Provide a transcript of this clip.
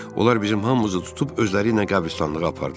Onlar bizim hamımızı tutub özləriylə qəbristanlığa apardılar.